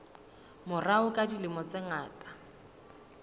morao ka dilemo tse ngata